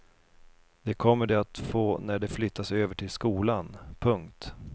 Det kommer de att få när de flyttas över till skolan. punkt